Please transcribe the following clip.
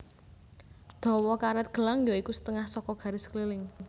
Dawa karet gelang ya iku setengah saka garis keliling